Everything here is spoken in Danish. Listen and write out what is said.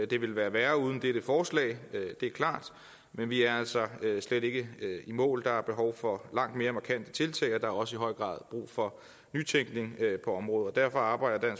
det ville være værre uden dette forslag det er klart men vi er altså slet ikke i mål der er behov for langt mere markante tiltag og der er også i høj grad brug for nytænkning på området derfor arbejder